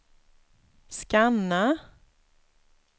scanna